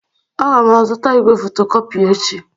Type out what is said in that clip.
Aga m azụta igwe fotocopy echi.